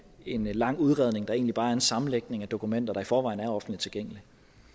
en lang udredning der egentlig bare er en sammenlægning af dokumenter der i forvejen er offentligt tilgængelige